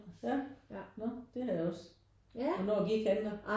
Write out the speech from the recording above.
Ja? Når det har jeg også hvornår gik han der?